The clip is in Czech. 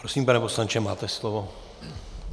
Prosím, pane poslanče, máte slovo.